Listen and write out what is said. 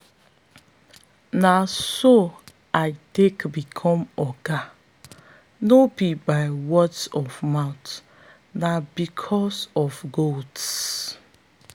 na so i take become oga no be by words of mouth na because of goats.